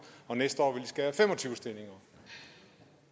og næste år vil skære fem og tyve stillinger